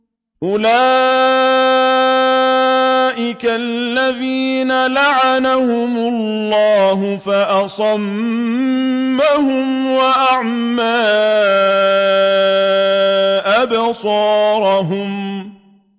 أُولَٰئِكَ الَّذِينَ لَعَنَهُمُ اللَّهُ فَأَصَمَّهُمْ وَأَعْمَىٰ أَبْصَارَهُمْ